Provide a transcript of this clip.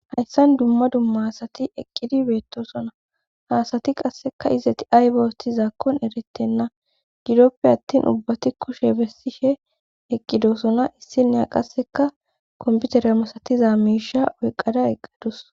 hayssan dumma dumma asati eqqidi beettosona ha asati qasseka izeti ayba othizankon erettenna gidoppe attin ubbati kushe bessishe eqqidosona issineya qasseka komputere masatiza miisha oyqada eqqadus